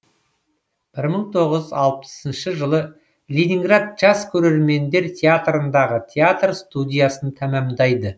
бір мың тоғыз жүз алпысыншы жылы ленинград жас көрермендер театрындағы театр студиясын тәмамдайды